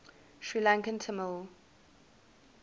sri lankan tamil